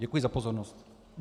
Děkuji za pozornost.